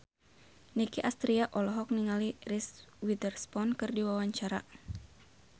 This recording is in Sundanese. Nicky Astria olohok ningali Reese Witherspoon keur diwawancara